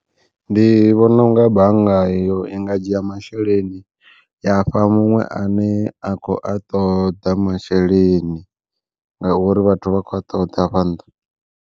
Ndi vhona unga bannga iyo i nga dzhia masheleni, yafha muṅwe ane a kho a toḓa masheleni ngauri vhathu vha khou a ṱoḓa hafha nnḓa.